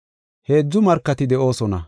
Heedzu markati de7oosona.